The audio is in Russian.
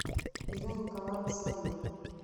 ирина николаевна соловьева